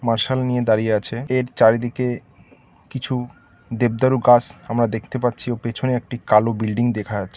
Martial নিয়ে দাঁড়িয়ে আছে এর চারিদিকে কিছু দেবদারু কাজ আমরা দেখতে পাচ্ছি ও পেছনে একটি কালো বিল্ডিং দেখা আছে।